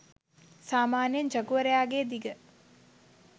සාමාන්‍යයෙන් ජගුවරයා ගේ දිග